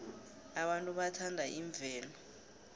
abantu bathanda imvelo